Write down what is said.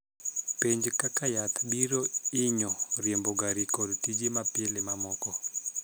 Penj kaka yath biro hinyo riembo gari kod tije ma pile mamoko.